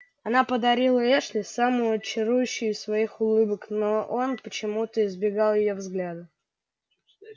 она подарила эшли самую чарующую из своих улыбок но он почему-то избегал её взгляда